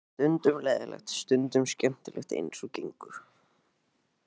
Stundum leiðinlegt, stundum skemmtilegt eins og gengur.